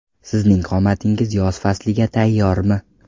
Sizning qomatingiz yoz fasliga tayyormi?